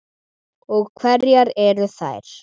Og hverjar eru þær?